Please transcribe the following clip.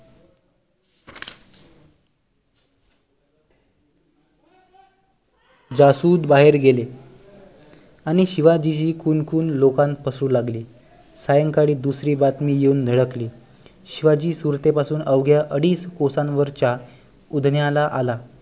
जासुद बाहेर गेले आणि शिवाजीची कुणकुण लोकांत पसरू लागली सायंकाळी दुसरी बातमी येऊन धडकली शिवाजी सुरते पासून अवघ्या अडीच कोसान वरच्या उधान्याला आला